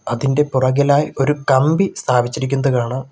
അതിൻ്റെ പൊറകിലായി ഒരു കമ്പി സ്ഥാപിച്ചിരിക്കുന്നത് കാണാം.